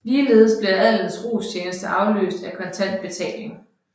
Ligeledes blev adelens rostjeneste afløst af kontant betaling